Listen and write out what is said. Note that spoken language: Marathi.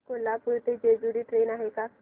कोल्हापूर ते जेजुरी ट्रेन आहे का